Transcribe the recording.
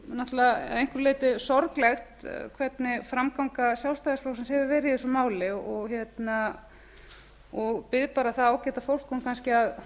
náttúrlega að einhverju leyti sorglegt hvernig framganga sjálfstæðisflokksins hefur verið í þessu máli og bið bara það ágæta fólk um kannski að